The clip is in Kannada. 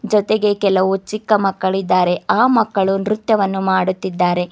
ಜೊತೆಗೆ ಕೆಲವು ಚಿಕ್ಕ ಮಕ್ಕಳಿದ್ದಾರೆ ಆ ಮಕ್ಕಳು ನೃತ್ಯವನ್ನು ಮಾಡುತ್ತಿದ್ದಾರೆ.